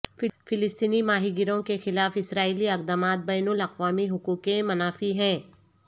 فلسطینی ماہی گیروں کے خلاف اسرائیلی اقدامات بین الاقوامی حقوق کے منافی ہیں